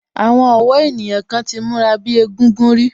Àwọn ọ̀wọ́ ènìyàn kan ti múra bíi egúngún rí